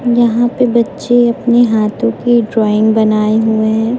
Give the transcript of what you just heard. यहां पे बच्चे अपने हाथों की ड्राइंग बनाए हुए हैं।